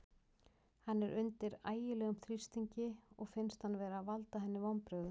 Hann er undir ægilegum þrýstingi og finnst hann vera að valda henni vonbrigðum.